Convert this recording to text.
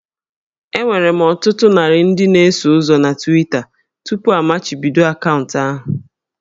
Enwere m otu narị ndị na-eso ụzọ na Twitter tupu amachibido akaụntụ ahụ